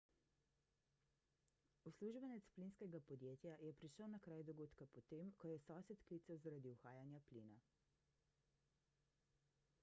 uslužbenec plinskega podjetja je prišel na kraj dogodka potem ko je sosed klical zaradi uhajanja plina